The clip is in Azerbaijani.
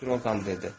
Droqan dedi.